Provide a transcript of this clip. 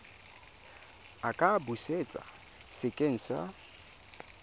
a ka busetswa sekeng sa